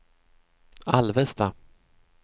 Alvesta